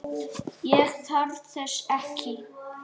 Ég þarf þess ekki.